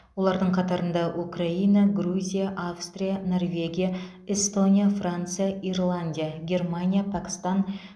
олардың қатарында украина грузия австрия норвегия эстония франция ирландия германия пәкістан